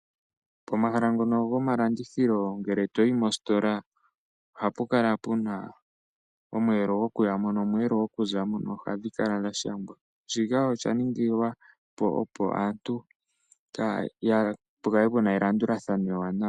Pomahala ngono gomalandithilo ngele toyi mositola, ohapu kala puna omweelo goku yamo nomweelo goku zamo noha dhi kala dha shangwa. Shika osha ningila opo aantu ya, pu kale pu na elandulathano ewanawa.